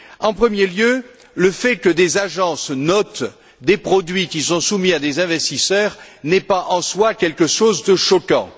En premier lieu, le fait que des agences notent des produits qu'ils ont soumis à des investisseurs n'est pas en soi quelque chose de choquant.